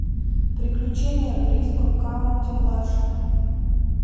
приключения бриско каунти младшего